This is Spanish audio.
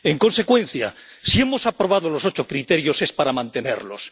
En consecuencia, si hemos aprobado los ocho criterios, es para mantenerlos.